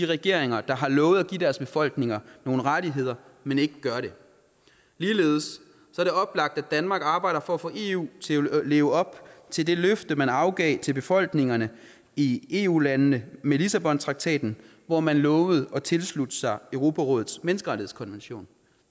regeringer der har lovet at give deres befolkninger nogle rettigheder men ikke gør det ligeledes er det oplagt at danmark arbejder for at få eu til at leve op til det løfte man afgav til befolkningerne i eu landene med lissabontraktaten hvor man lovede at tilslutte sig europarådets menneskerettighedskonvention